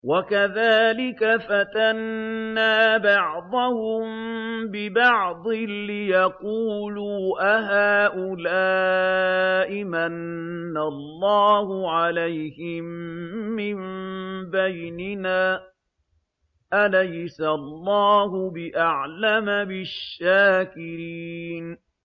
وَكَذَٰلِكَ فَتَنَّا بَعْضَهُم بِبَعْضٍ لِّيَقُولُوا أَهَٰؤُلَاءِ مَنَّ اللَّهُ عَلَيْهِم مِّن بَيْنِنَا ۗ أَلَيْسَ اللَّهُ بِأَعْلَمَ بِالشَّاكِرِينَ